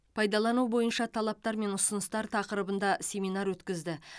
пайдалану бойынша талаптар мен ұсыныстар тақырыбында семинар өткізді